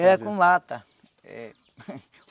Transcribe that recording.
Era com lata. Eh